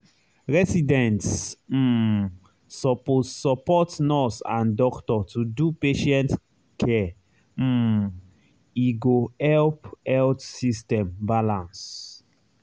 residents um suppose support nurse and doctor to do patient care um e go help health system balance.